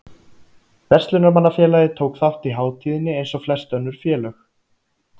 Verslunarmannafélagið tók þátt í hátíðinni eins og flest önnur félög.